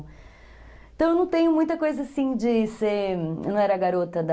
Então, eu não tenho muita coisa assim de ser... Eu não era garota da...